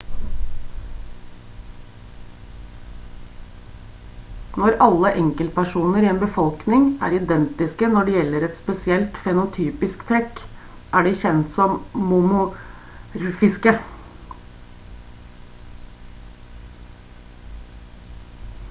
når alle enkeltpersoner i en befolkning er identiske når det gjelder et spesielt fenotypisk trekk er de kjent som monomorfiske